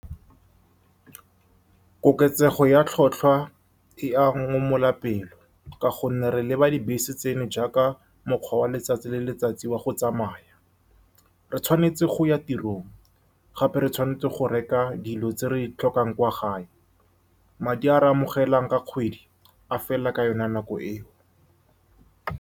Koketsego ya tlhotlhwa e a pelo, ka gonne re leba dibese tseno jaaka mokgwa wa letsatsi le letsatsi wa go tsamaya. Re tshwanetse go ya tirong, gape re tshwanetse go reka dilo tse re di tlhokang kwa gae. Madi a re a amogelang ka kgwedi a fela ka yone nako eo.